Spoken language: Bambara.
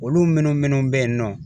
Olu minnu minnu bɛ yen nɔ